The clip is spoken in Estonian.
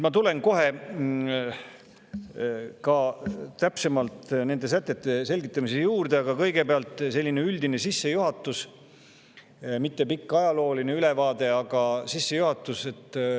Ma kohe tulen ka täpsemalt nende sätete selgitamise juurde, aga kõigepealt selline üldine sissejuhatus – mitte pikk ajalooline ülevaade, aga sissejuhatus.